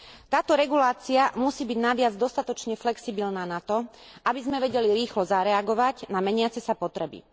Táto regulácia musí byť naviac dostatočne flexibilná na to, aby sme vedeli rýchlo zareagovať na meniace sa potreby.